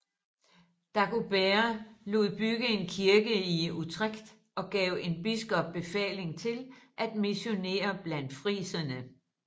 Dagobert lod bygge en kirke i Utrecht og gav en biskop befaling til at missionere blandt friserne